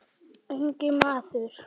Ungi maður